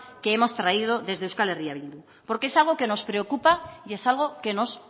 que hemos traído desde eh bildu porque es algo que nos preocupa y es algo que nos